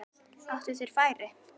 Áttu þeir færi?